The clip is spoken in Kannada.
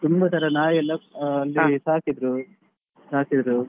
ತುಂಬ ತರ ನಾಯಿಯೆಲ್ಲ ಅಹ್ ಅಲ್ಲಿ ಸಾಕಿದ್ರು ಸಾಕಿದ್ರು.